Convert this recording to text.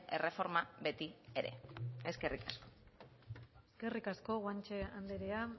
erreforma beti ere eskerrik asko eskerrik asko guanche andrea